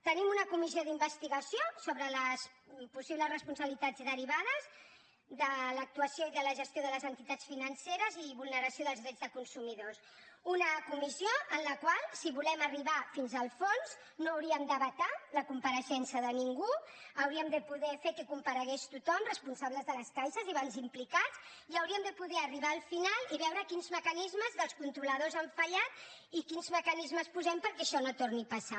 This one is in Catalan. tenim una comissió d’investigació sobre les possibles responsabilitats derivades de l’actuació i de la gestió de les entitats financeres i de vulneració dels drets de consumidors una comissió en la qual si volem arribar fins al fons no hauríem de vetar la compareixença de ningú hauríem de poder fer que comparegués tothom responsables de les caixes i bancs implicats i hauríem de poder arribar al final i veure quins mecanismes dels controladors han fallat i quins mecanismes hi posem perquè això no torni a passar